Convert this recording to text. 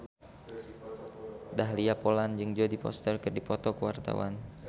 Dahlia Poland jeung Jodie Foster keur dipoto ku wartawan